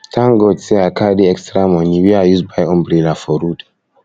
tank god sey i carry extra moni wey i use buy umbrella for road